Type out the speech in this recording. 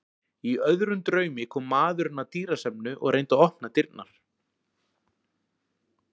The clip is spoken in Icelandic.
Í öðrum draumi kom maðurinn af dýrasafninu og reyndi að opna dyrnar.